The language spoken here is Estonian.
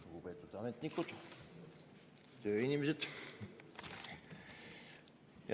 Lugupeetud ametnikud, tööinimesed!